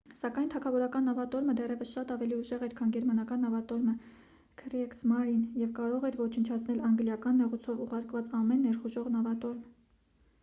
սակայն թագավորական նավատորմը դեռևս շատ ավելի ուժեղ էր քան գերմանական նավատորմը «քրիեգսմարին» և կարող էր ոչնչացնել անգլիական նեղուցով ուղարկված ամեն ներխուժող նավատորմ: